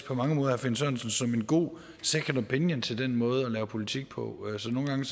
på mange måder herre finn sørensen som en god second opinion til den måde at lave politik på så nogle gange